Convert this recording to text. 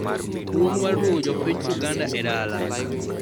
Luong mar duogo jopiny Uganda e dala